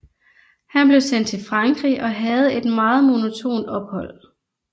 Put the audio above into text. Han blev sendt til Frankrig og havde et meget monotont ophold